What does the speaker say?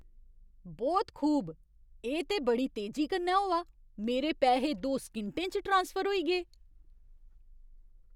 ब्होत खूब। एह् ते बड़ी तेजी कन्नै होआ। मेरे पैहे दो सकिंटें च ट्रांसफर होई गे।